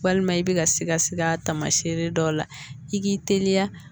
Walima i bɛ ka sikasi a tamasiyɛn dɔw la i k'i teliya